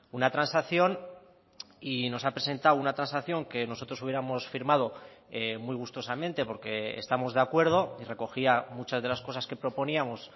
una transacción y nos ha presentado una transacción que nosotros hubiéramos firmado muy gustosamente porque estamos de acuerdo y recogía muchas de las cosas que proponíamos